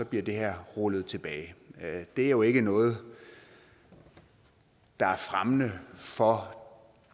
bliver det her rullet tilbage det er jo ikke noget der er fremmende for